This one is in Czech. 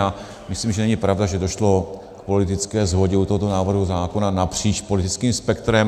A myslím, že není pravda, že došlo k politické shodě u tohoto návrhu zákona napříč politickým spektrem.